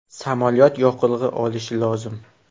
Samolyot yoqilg‘i olishi lozim.